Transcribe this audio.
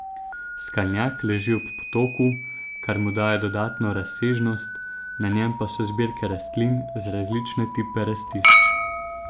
Skalnjak leži ob potoku, kar mu daje dodatno razsežnost, na njem pa so zbirke rastlin za različne tipe rastišč.